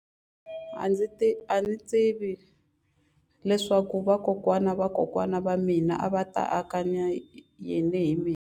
A ndzi tivi leswaku vakokwana-va-vakokwana va mina a va ta anakanya yini hi mina.